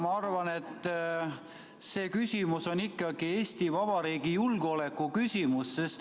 Ma arvan, et see on ikkagi Eesti Vabariigi julgeoleku küsimus.